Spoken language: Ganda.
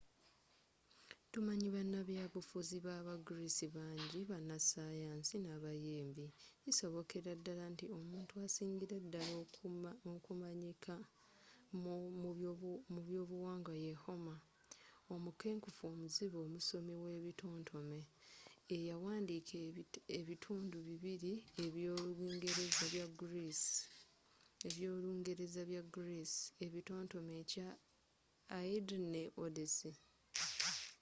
tumanyi banabyabufuzi ba ba greece bangi bana sayansi n'abayimbi kisobokeraddala nti omuntu asingira ddala okumanyika mu by'obuwangwa ye homer omukenkufu omuzibe omusomi we bitontome eyawandiika ebitundu bibiri eby'olungereza bya greece ebitotome ekya iliad ne odyssey